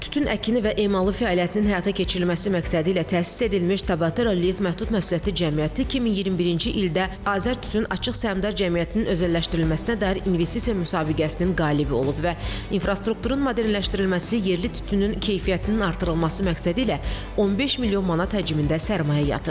Tütün əkini və emalı fəaliyyətinin həyata keçirilməsi məqsədilə təsis edilmiş Tabatera Live məhdud məsuliyyətli cəmiyyəti 2021-ci ildə Azərtütün açıq səhmdar cəmiyyətinin özəlləşdirilməsinə dair investisiya müsabiqəsinin qalibi olub və infrastrukturun modelləşdirilməsi, yerli tütünün keyfiyyətinin artırılması məqsədilə 15 milyon manat həcmində sərmayə yatırıb.